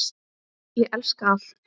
Ég elska allt.